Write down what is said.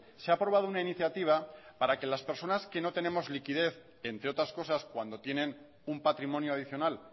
se ha aprobado una iniciativa para que las personas que no tenemos liquidez entre otras cosas cuando tienen un patrimonio adicional